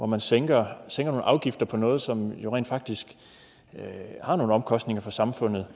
man sænker nogle afgifter på noget som rent faktisk har nogle omkostninger for samfundet